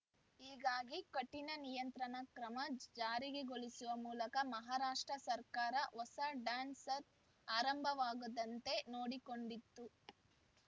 ಹೀಗಾಗಿ ಕಠಿಣ ನಿಯಂತ್ರಣ ಕ್ರಮ ಜಾರಿಗೆ ಗೊಳಿಸುವ ಮೂಲಕ ಮಹಾರಾಷ್ಟ್ರ ಸರ್ಕಾರ ಹೊಸ ಡ್ಯಾನ್ಸರ್ ಬ್ ಆರಂಭವಾಗದಂತೆ ನೋಡಿಕೊಂಡಿತ್ತು